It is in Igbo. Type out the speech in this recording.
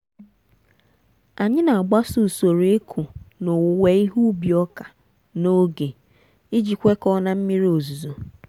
anyị na-agbaso usoro ịkụ na owuwe ihe ubi ọka n'oge iji kwekọọ na mmiri ozizo.